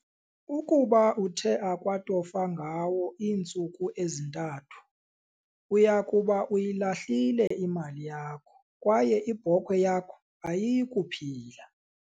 Ukuba uthe akwatofa ngawo iintsuku ezi-3, uya kuba uyilahhlile imali yakho kwaye ibhokhwe yakho ayiyi kuphila.